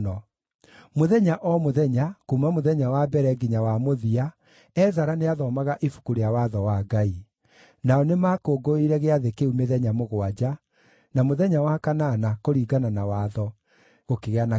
Mũthenya o mũthenya, kuuma mũthenya wa mbere nginya wa mũthia, Ezara nĩathomaga Ibuku rĩa Watho wa Ngai. Nao nĩmakũngũĩire gĩathĩ kĩu mĩthenya mũgwanja, na mũthenya wa kanana, kũringana na watho, gũkĩgĩa na kĩũngano.